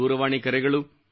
ದೂರವಾಣಿ ಕರೆಗಳು